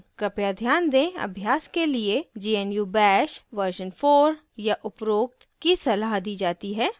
कृपया ध्यान दें अभ्यास के लिए gnu bash version 4 या उपरोक्त की सलाह दी जाती है